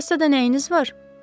Kassada nəyiniz var?